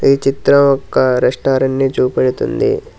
ఈ చిత్రం ఒక్క రెస్టారెంట్ ని చూపెడుతుంది.